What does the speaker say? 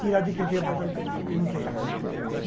Tirar de quem tem para dar para para quem não tem, gente.